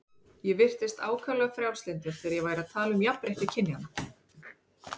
Ég virtist ákaflega frjálslyndur þegar ég væri að tala um jafnrétti kynjanna.